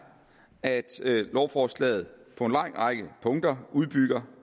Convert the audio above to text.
at lovforslaget på en lang række punkter udbygger